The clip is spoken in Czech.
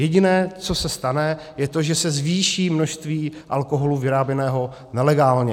Jediné, co se stane, je to, že se zvýší množství alkoholu vyráběného nelegálně.